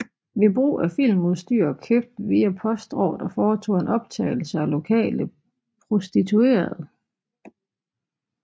Ved brug af filmudstyr købt via postordre foretog han optagelser af lokale prostituerede